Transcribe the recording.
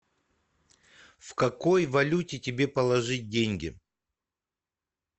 в какой валюте тебе положить деньги